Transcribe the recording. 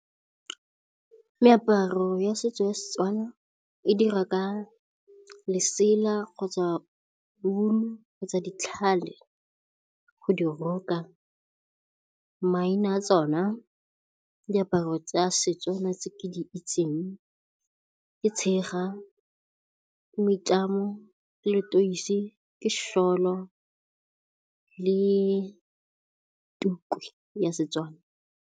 Meaparo ya setso ya seTswana e dirwa ka lesela kgotsa wool-u kgotsa ditlhale go di roka. Maina tsona diaparo tsa seTswana tse ke di itseng ke tshega, moitlamo, leteisi, ke shawl-o le tuku ya seTswana.